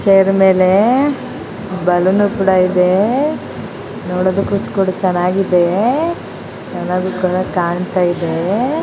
Chair ಮೇಲೆ ಬಲ್ಲೊನ್ನು ಕೂಡ ಇದೆ. ನೋಡದಕ್ಕು ಚೆನ್ನಾಗಿ ಇದೆ ಚೆನ್ನಾಗಿ ಕೂಡ ಕಾಣತ್ತಾಯಿದೆ.